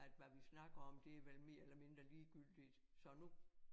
At hvad vi snakker om det vel mere eller mindre ligegyldigt så nu